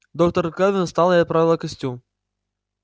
доктор кэлвин встала и оправила костюм